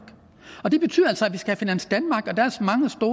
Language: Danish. og det betyder altså at vi skal have finans danmark